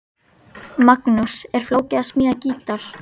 Magnús: Er flókið að smíða gítar?